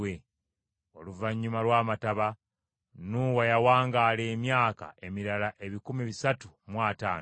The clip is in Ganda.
Oluvannyuma lw’amataba Nuuwa yawangaala emyaka emirala ebikumi bisatu mu ataano.